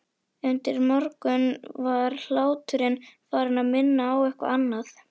Undir morgun var hláturinn farinn að minna á eitthvað annað.